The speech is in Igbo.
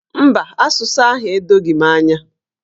Mba, asụsụ ahụ edoghi m anya.